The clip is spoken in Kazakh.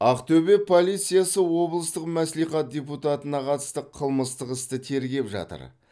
ақтөбе полициясы облыстық мәслихат депутатына қатысты қылмыстық істі тергеп жатыр